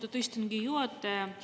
Austatud istungi juhataja!